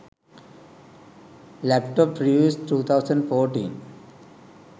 laptop reviews 2014